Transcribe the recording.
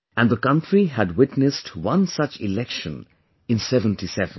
And the country had witnessed one such Election in '77